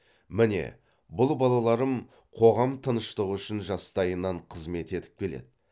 міне бұл балаларым қоғам тыныштығы үшін жастайынан қызмет етіп келеді